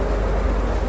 Həyyə ələl-fəlah.